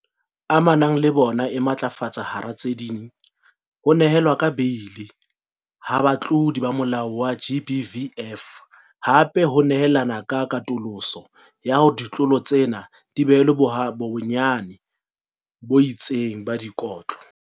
Amanang le bona e matlafatsa hara tse ding, ho nehelwa ka beili ha batlodi ba molao wa GBVF, hape o nehelana ka katoloso ya hore ditlolo tsena di behelwe bonyane bo itseng ba dikotlo.